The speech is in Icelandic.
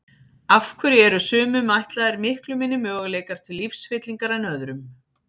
Af hverju eru sumum ætlaðir miklu minni möguleikar til lífsfyllingar en öðrum?